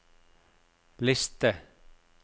liste